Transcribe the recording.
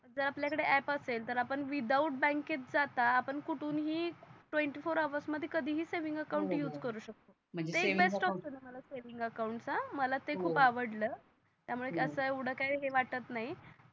जर आपल्या कडे आप असेल तर आपण विथआउट बँक जाता आपण कुठून ही ट्वेंटी फोर हॉर्स मध्ये कधी ही सेव्हिंग अकाउंट यूज करू शकतो हो हो म्हणजे ते ते बेस्ट ऑप्शन आहे म्हणा सेव्हिंग अकाउंट मला ते खूप आवडल हो हो त्या मूळे त्याच येवड काही वाटत नाही